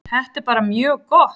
Þetta er bara mjög gott.